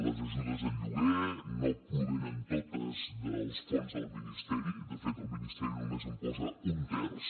les ajudes al lloguer no provenen totes dels fons del ministeri de fet el ministeri només en posa un terç